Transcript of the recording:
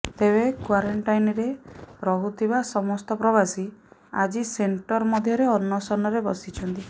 ତେବେ କ୍ବରେଣ୍ଟାଇନରେ ରହୁଥିବା ସମସ୍ତ ପ୍ରବାସୀ ଆଜି ସେଣ୍ଟର ମଧ୍ୟରେ ଅନଶନରେ ବସିଛନ୍ତି